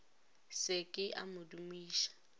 se ke a mo dumiša